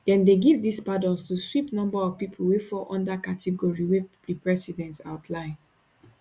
dem dey give dis pardons to sweep number of pipo wey fall under category wey di president outline